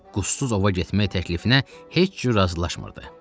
Qustsuz ova getməyi təklifinə heç cür razılaşmırdı.